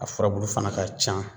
A furabulu fana ka can